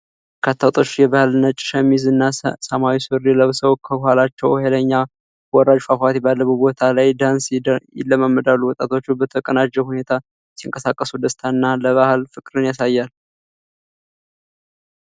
በርካታ ወጣቶች የባህል ነጭ ሸሚዝ እና ሰማያዊ ሱሪ ለብሰው ከኋላቸው ኃይለኛ ወራጅ ፏፏቴ ባለበት ቦታ ላይ ዳንስ ይለማመዳሉ። ወጣቶቹ በተቀናጀ ሁኔታ ሲንቀሳቀሱ ደስታንና ለባህል ፍቅርን ያሳያሉ።